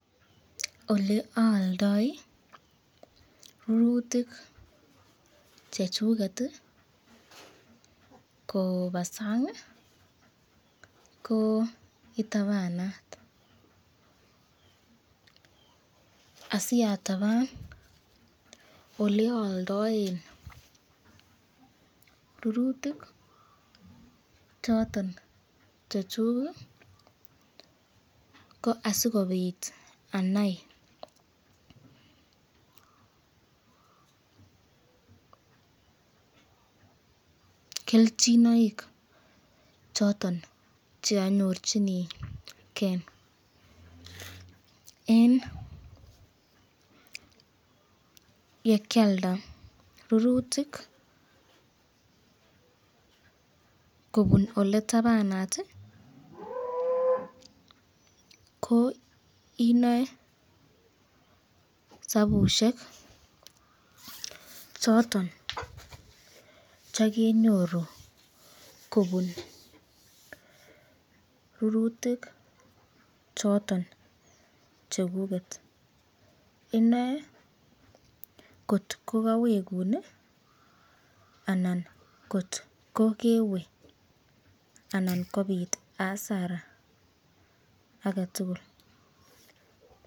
Ole aaldoi rurutik chechuket koba sang ko itabanat asiataban ole oldoen rurutik choton che chuk ko asikobit anai kelchinoik choton cheanyorchinigen en yekialda rurutik kobun oletabanat ko inoe sabushek choton chekenyoru kobun rurutik choton chekuket inoe kotkokawekun anan kot kokewe anan kobit asara ake tugul.